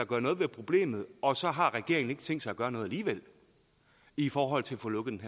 gøre noget ved problemet og så har regeringen ikke tænkt sig gøre noget alligevel i forhold til at få lukket